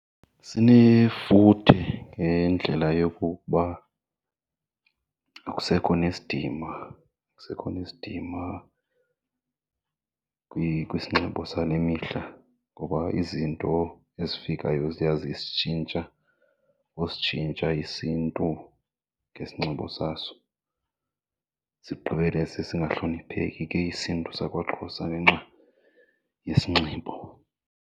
Sinefuthe ngendlela yokokuba akusekho nesidima, akusekho nesidima kwisinxibo sale mihla ngoba izinto ezifikayo ziya zisitshintsha usitshintsha isiNtu ngesinxibo saso. Sigqibele sesingahlonipheki ke isiNtu sakwaXhosa ngenxa yesinxibo.